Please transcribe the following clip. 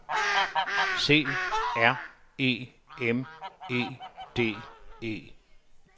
C R E M E D E